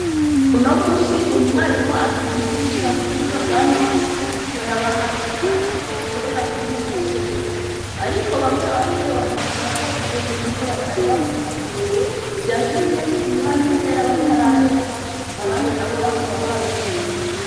Uno munsi umwarimu atwigisha Ku buhinga bwa none ngo yabahaye ikibazo bakorera kuri mudasobwa. Ariko bamwe bakavuga KO ubwo buhinga batari babumenyereye vyatumye umwanya uhera bataraheza, abandi nabo bakaba babishimye.